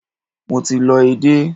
Mo ti lọ edé.